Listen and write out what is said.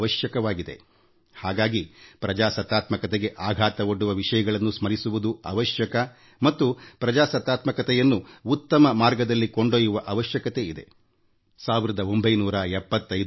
ಹೀಗಾಗಿ ಪ್ರಜಾಸತ್ತೆಗೆ ಆಘಾತವೊಡ್ಡುವ ವಿಷಯಗಳನ್ನೂ ಸ್ಮರಿಸುವುದು ಅಗತ್ಯ ಮತ್ತು ಪ್ರಜಾಪ್ರಭುತ್ವವನ್ನು ಉತ್ತಮ ಮಾರ್ಗದಲ್ಲಿ ಕೊಂಡೊಯ್ಯುವ ಅವಶ್ಯಕತೆಯೂ ಇದೆ